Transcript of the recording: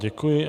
Děkuji.